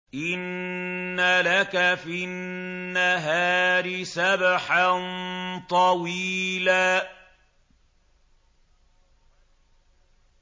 إِنَّ لَكَ فِي النَّهَارِ سَبْحًا طَوِيلًا